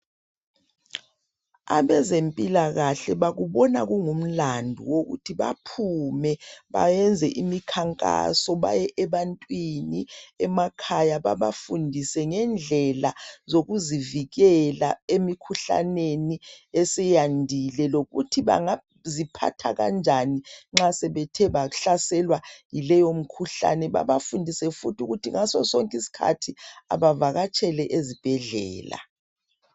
Abezempilakahle bakubona kungumlandu wokuthi baphume bayenze imikhankaso baye ebantwini emakhaya babafundise ngendlela zokuzivikela emikhuhlaneni esiyandile lokuthi bangaziphatha kanjani nxa sebethe bahlaselwa yile mikhuhlane babafundise futhi ukuthi ngaso sonke isikhathi abavakatshele ezibhedlela.